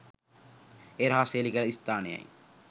ඒ රහස් හෙළි කළ ස්ථානයයි